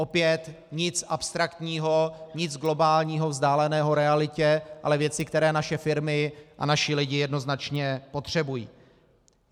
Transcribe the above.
Opět nic abstraktního, nic globálního, vzdáleného realitě, ale věci, které naše firmy a naši lidé jednoznačně potřebují.